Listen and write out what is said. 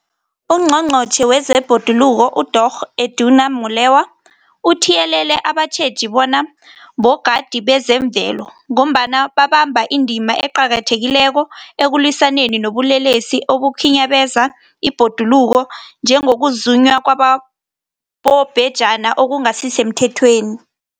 UNgqongqotjhe wezeBhoduluko uDorh Edna Molewa uthiyelele abatjheji bona bogadi bezemvelo, ngombana babamba indima eqakathekileko ekulwisaneni nobulelesi obukhinyabeza ibhoduluko, njengokuzunywa kwabobhejani okungasisemthethweni.